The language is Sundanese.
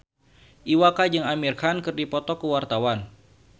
Iwa K jeung Amir Khan keur dipoto ku wartawan